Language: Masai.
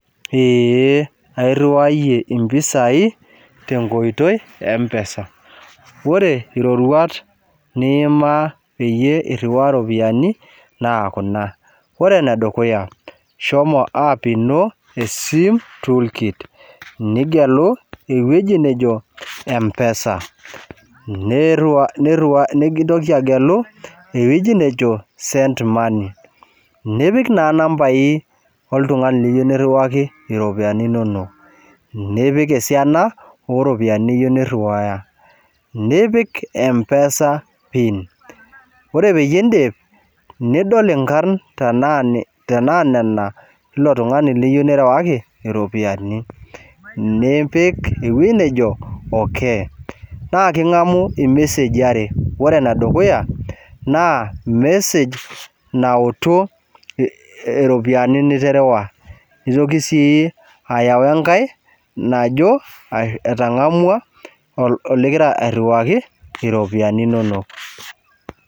Eee, airuwaiyie impisai te nkoitoi empesa, ore iroruat niimaa peyie iruwaa iropiyiani naa kuna, ore ne dukuya, shomo aap ino sim toolkit nigelu eweji najo empesa, neiruwaa, nintoki agelu entoki najo send money nipik naa nambai oltungani liyeu niiruwaki iropiyiani inono, nipik osiana oropiyiani niyeu niruwuaya, nipik empesa piin, ore peyie indip nidol inkarn tenaa nena, eilo tungani liyeu nirawaki iropiyiani, nipik ewueji nejo okei, naa king'amu ilmeseji oware, ore ne dukuya naa mesej nautu iropiyiani niterewua, neitoki sii ayau enkae najo etang'amua ligira airuwuaki iropiyiani inono.